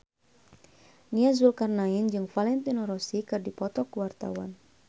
Nia Zulkarnaen jeung Valentino Rossi keur dipoto ku wartawan